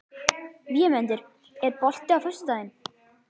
Vémundur, er bolti á föstudaginn?